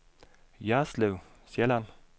Jerslev Sjælland